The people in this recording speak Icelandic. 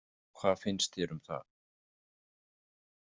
Hvað finnst þér um það?